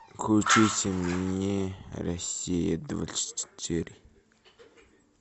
включите мне россия двадцать четыре